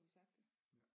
Nu har vi sagt det